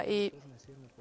í